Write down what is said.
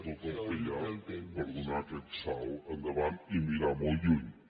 tot el que hi ha per donar aquest salt endavant i mirar molt lluny